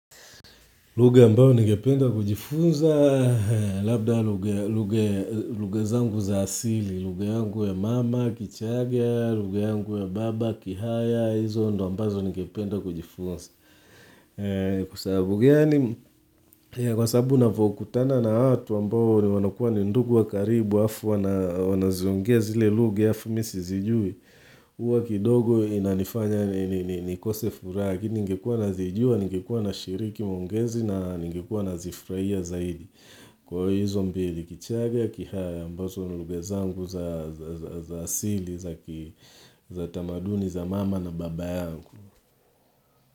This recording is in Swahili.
Lugha ambayo ningependa kujifunza, labda lugha zangu za asili, lugha yangu ya mama, kichagaa, lugha yangu ya baba, kihaya, hizo ndio ambazo ningependa kujifunza. Kwa sababu gani Kwa sababu nanavyokutana na watu ambao wanakua ni ndugu wa karibu halafu wanaziongea zile lugha halafu mimi sizijui, huwa kidogo inanifanya nikose furaha lakini ningekua nazijua, ningekua nashiriki maongezi na ningekua nazifurahia zaidi. Kwa hizobmbili kichaga, kihaya ambazo ni lugha zangu za asili za tamaduni za mama na baba yangu.